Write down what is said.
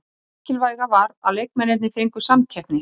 Það mikilvæga var að leikmennirnir fengu samkeppni.